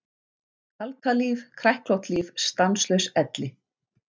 Kalkað líf, kræklótt líf, stanslaus elli.